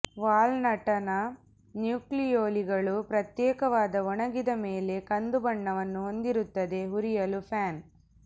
ವಾಲ್ನಟ್ನ ನ್ಯೂಕ್ಲಿಯೊಲಿಗಳು ಪ್ರತ್ಯೇಕವಾದ ಒಣಗಿದ ಮೇಲೆ ಕಂದು ಬಣ್ಣವನ್ನು ಹೊಂದಿರುತ್ತದೆ ಹುರಿಯಲು ಪ್ಯಾನ್